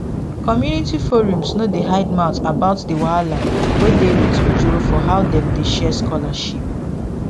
community forums no dey hide mouth about the wahala wey dey with ojoro for how dem dey share scholarship